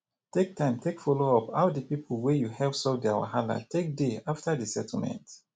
take time take follow up how di pipo wey you help solve their wahala take dey after the settlement